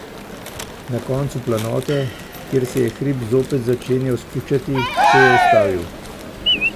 Na koncu planote, kjer se je hrib zopet začenjal spuščati, se je ustavil.